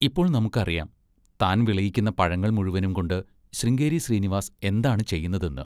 ഇപ്പോൾ നമുക്കറിയാം, താൻ വിളയിക്കുന്ന പഴങ്ങൾ മുഴുവനുംകൊണ്ട് ശൃംഗേരി ശ്രീനിവാസ് എന്താണ് ചെയ്യുന്നതെന്ന്!